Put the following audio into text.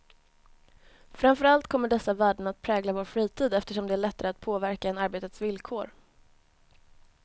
Framför allt kommer dessa värden att prägla vår fritid, eftersom den är lättare att påverka än arbetets villkor.